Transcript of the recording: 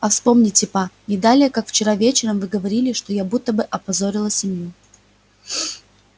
а вспомните па не далее как вчера вечером вы говорили что я будто бы опозорила семью